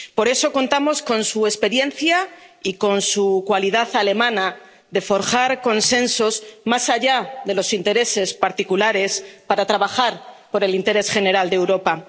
Por eso contamos con su experiencia y con su cualidad alemana de forjar consensos, más allá de los intereses particulares, para trabajar por el interés general de Europa.